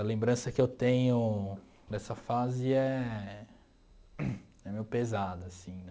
A lembrança que eu tenho dessa fase é é meio pesada, assim, né?